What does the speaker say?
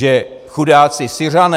Že chudáci Syřané.